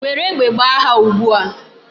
Were egbe gbaa ha ugbu a!